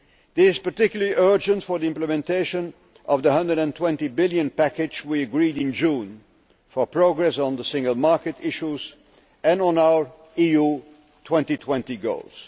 This is particularly urgent for the implementation of the EUR 120 billion package we agreed in June, for progress on the single market issues and on our EU 2020 goals.